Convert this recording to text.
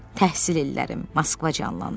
Təhsil illərim, Moskva canlandı.